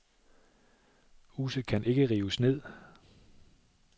Huset kan ikke rives ned.